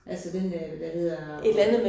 Altså den dér, der hedder